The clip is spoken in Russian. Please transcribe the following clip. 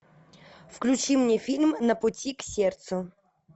включи мне фильм на пути к сердцу